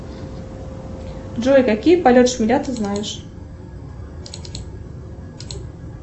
джой какие полет шмеля ты знаешь